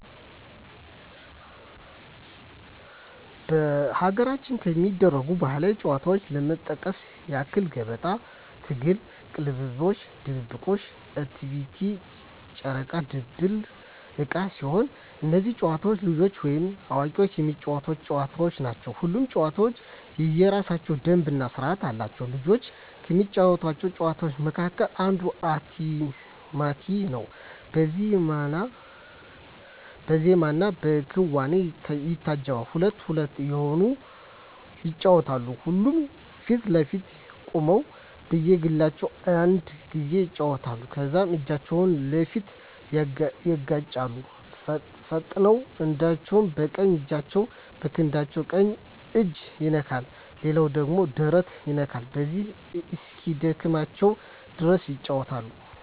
በሀገራችን ከሚደረጉ ባህላዊ ጨዋታዎች ለመጥቀስ ያክል ገበጣ፣ ትግል፣ ቅልምልሞሽ፣ ድብብቆሽ፣ እቴሜቴ፣ ጨረቃ ድንቡል ዕቃ ሲሆኑ እነዚህ ጨዋታዎች ልጆችም ወይም አዋቂዎች የሚጫወቱት ጨዋታዎች ናቸው። ሁሉም ጨዋታ የየራሳቸው ደንብ እና ስርዓት አላቸው። ልጆች ከሚጫወቷቸው ጨዋታዎች መካከል አንዱ እቴሜቴ ነው በዜማና በክዋኔ ይታጀባል ሁለት ሁለት እየሆኑ ይጫወቱታል ሁለቱም ፊት ለፊት ቆመው በየግላቸው አንድ ጊዜ ያጨበጭባሉ ከዛም እጃቸውን ፊት ለፊት ያጋጫሉ ፈጥነው አንዳቸው በቀኝ እጃቸው የክንዳቸው ቀኝ እጅ ይነካል ሌላኛው እጅ ደረት ይነካል በዚሁ እስኪደክማቸው ድረስ ይጫወታሉ።